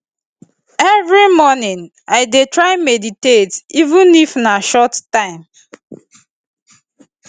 every morning i dey try meditate even if na short time